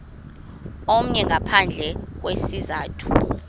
omnye ngaphandle kwesizathu